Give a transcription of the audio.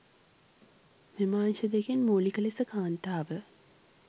මෙම අංශ දෙකින් මූලික ලෙස කාන්තාව